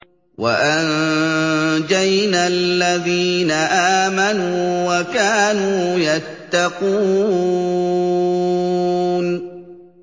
وَأَنجَيْنَا الَّذِينَ آمَنُوا وَكَانُوا يَتَّقُونَ